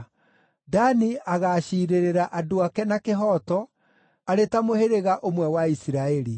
“Dani agaaciirĩrĩra andũ ake na kĩhooto, arĩ ta mũhĩrĩga ũmwe wa Isiraeli.